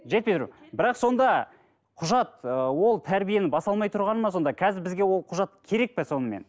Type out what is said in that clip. жетпей тұр бірақ сонда құжат ы ол тәрбиені баса алмай тұрғаны ма сонда қазір бізге ол құжат керек пе сонымен